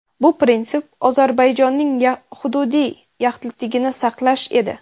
Bu prinsip Ozarbayjonning hududiy yaxlitligini saqlash edi.